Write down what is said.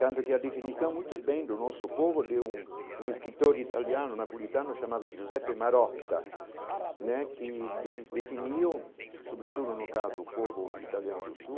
Tanto que a definição, muito bem do nosso povo, deu um um escritor italiano, um napolitano chamado Giuseppe Marotta né, que de definiu, sobretudo no caso, o povo italiano do Sul,